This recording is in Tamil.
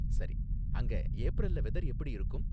சரி. அங்க ஏப்ரல்ல வெதர் எப்படி இருக்கும்?